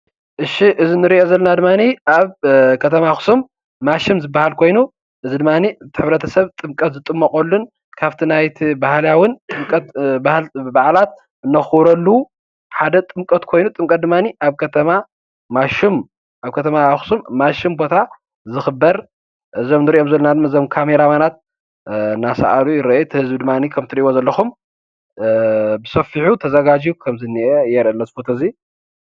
እሺ እዚ እንሪኦ ዘለና ድማኒ ኣብ ከተማ ኣክሱም ማይ ሹም ዝበሃል ኮይኑ እዚ ድማኒ እቲ ሕብረተስብ ጥምቀት ዝጥመቐሉን ካብቲ ናይቲ ባህላዊ ጥምቀት በዓላት ነኽብረሉ ሓደ ጥምቀት ኮይኑ ኣብ ከተማ ኣክሱም ማይሹም ቦታ ዝኽበር እዞም ንሪኦም ዘለና ካሜራ ማናት እናስኣሉ ይርኣዩ። እቲ ህዝቢ ድማ ከምቲ ትሪኢዎ ዘለኩም ብሰፊሑ ተዘጋጂዩ ከምዝኒአ የረኢ ኣሎ እዚ ፎቶ እዚ::